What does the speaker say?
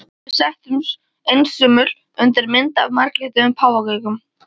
Við settumst, einsömul undir mynd af marglitum páfagaukum.